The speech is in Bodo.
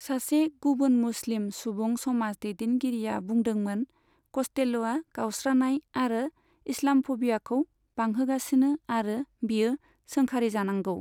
सासे गुबुन मुस्लिम सुबुं समाज दैदेनगिरिया बुंदोंमोन कस्टेल'या गावस्रानाय आरो इस्लाम'फबियाखौ बांहोगासिनो आरो बेयो सोंखारिजानांगौ।